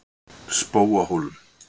Spóahólum